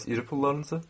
Bəs iri pullarınızı?